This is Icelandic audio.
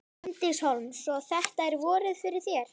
Bryndís Hólm: Svo þetta er vorið fyrir þér?